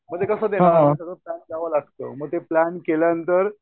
मग ते कसं होतं सगळं प्लॅन द्यावं लागतं मग ते प्लॅन केल्यानंतर